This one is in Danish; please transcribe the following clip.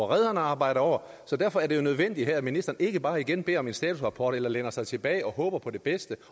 redderne arbejder over derfor er det jo nødvendigt her at ministeren ikke bare igen beder om en statusrapport eller læner sig tilbage og håber på det bedste